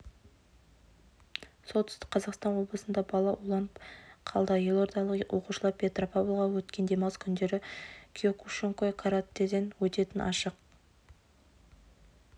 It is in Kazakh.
солтүстік қазақстан облысында бала уланып қалды елордалық оқушылар петропавлға өткен демалыс күндері киокушинкай каратэден өтетін ашық